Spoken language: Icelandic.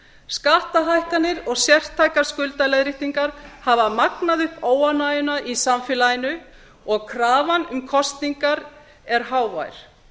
skattahækkanir og sértækar skuldaleiðréttingar hafa magnað upp óánægjuna í samfélaginu og krafan um kosningar er hávær